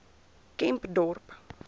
kempdorp